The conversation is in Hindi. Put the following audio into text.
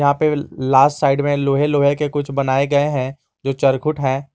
यहां पे लास्ट साइड में लोहे लोहे के कुछ बनाए गए हैं जो चरखुट हैं।